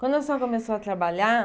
Quando a senhora começou a trabalhar...